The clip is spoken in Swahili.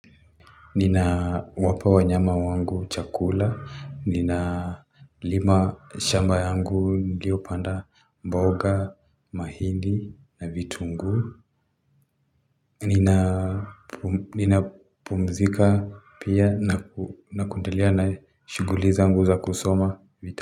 Nina wapa wanyama wangu chakula, nina lima shamba yangu nilio panda mboga, mahindi na vitunguu. Nina pumzika pia na kuendalea na shuguli zangu za kusoma vita.